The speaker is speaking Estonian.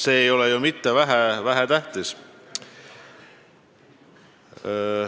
See ei ole ju vähetähtis.